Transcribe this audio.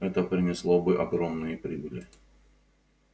это принесло бы огромные прибыли